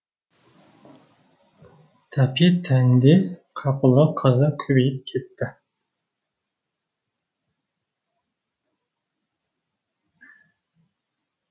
тәпе тәнде қапылы қаза көбейіп кетті